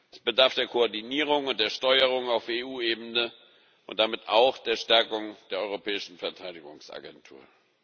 Es bedarf der Koordinierung und der Steuerung auf EU Ebene und damit auch der Stärkung der europäischen Verteidigungsagentur.